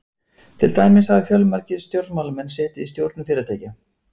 Til dæmis hafa fjölmargir stjórnmálamenn setið í stjórnum fyrirtækja.